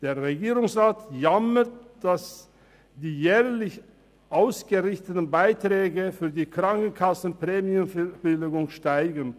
Der Regierungsrat jammert, dass die jährlich ausgerichteten Beiträge für die Krankenkassenprämienverbilligungen steigen.